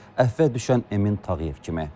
Əfvə düşən Emin Tağıyev kimi.